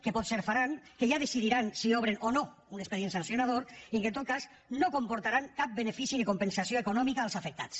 que potser faran que ja decidiran si obren o no un expedient sancionador i que en tot cas no comportaran cap benefici ni compensació econòmica als afectats